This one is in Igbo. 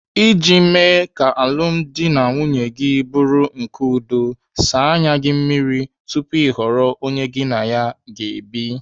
Iji mee ka alụmdi na nwunye gị bụrụ nke udo, saa anya gị mmiri tupu ị họrọ onye gị na ya ga-ebi.